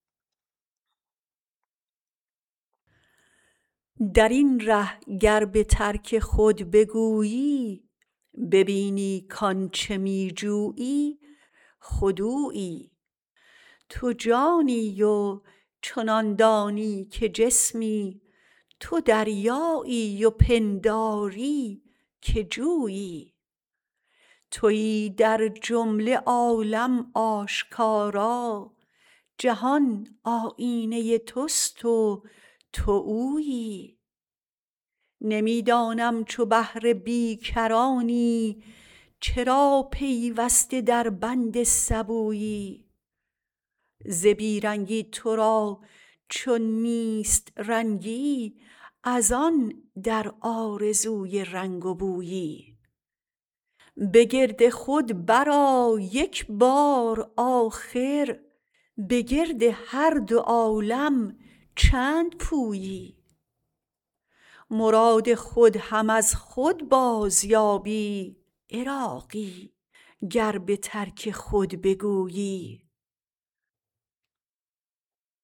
درین ره گر به ترک خود بگویی ببینی کان چه می جویی خود اویی تو جانی و چنان دانی که جسمی تو دریایی و پنداری که جویی تویی در جمله عالم آشکارا جهان آیینه توست و تو اویی نمی دانم چو بحر بیکرانی چرا پیوسته در بند سبویی ز بی رنگی تو را چون نیست رنگی از آن در آرزوی رنگ و بویی به گرد خود برآ یک بار آخر به گرد هر دو عالم چند پویی مراد خود هم از خود بازیابی عراقی گر به ترک خود بگویی